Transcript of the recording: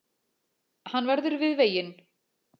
Hann verður við veginn